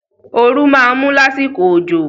Oru máa mu lásìkò òjò.